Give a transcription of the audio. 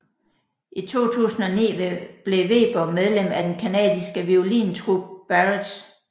I 2009 blev Weber medlem af den canadiske violintrup Barrage